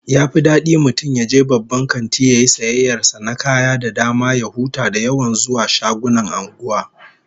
Yafi dadi mutum yaje babban kanti yayi sayayyar sa na kaya da dama ya huta da yawan zuwa shagunan anguwa